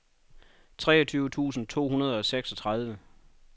treogtyve tusind to hundrede og seksogtredive